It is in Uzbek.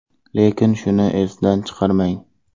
Lekin shuni esdan chiqarmang.